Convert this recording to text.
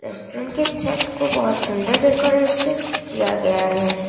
उनके छत को बहोत सुंदर डेकोरेशन किया गया है।